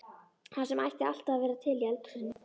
Það sem ætti alltaf að vera til í eldhúsinu þínu!